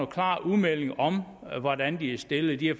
klar udmelding om hvordan de er stillet de har